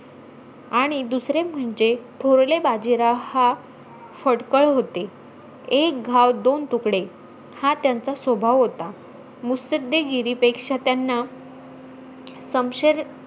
आणि दुसरे म्हणजे, थोरले बाजीराव हा फटकळ होते. एक घाव दोन तुकडे, हा त्यांचा स्वभाव होता मुस्सदेगीरीपेक्षा त्यांना समशेर,